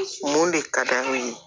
Mun de ka d'u ye